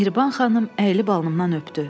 Mehriban xanım əlli balımdan öpdü.